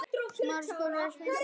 Ekki svo glatt.